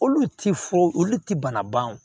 Olu ti foyi olu tɛ bana ban o